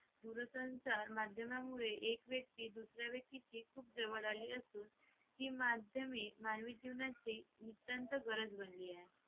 दूरसंचार माध्यमामुळे एक व्यक्ती दुसऱ्या व्यक्तीची खूप जवळ आली असून ती माध्यमिक मानवी जीवनाची अत्यंत गरज बनली आहे